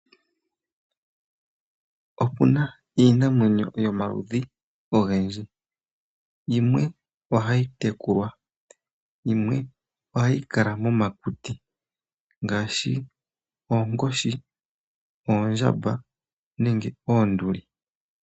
Opuna iinamwenyo yomaludhi ogendji yimwe ohayi tekulwa yimwe ohayi kala momakuti ngaashi oonkoshi, oondjamba nenge oonduli.